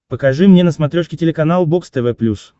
покажи мне на смотрешке телеканал бокс тв плюс